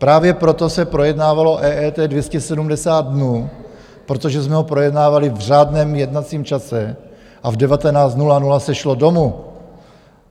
Právě proto se projednávalo EET 270 dnů, protože jsme ho projednávali v řádném jednacím čase a v 19.00 se šlo domů.